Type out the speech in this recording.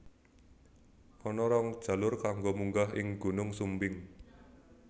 Ana rong jalur kanggo munggah ing Gunung Sumbing